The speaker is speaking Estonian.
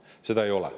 Seda ei ole.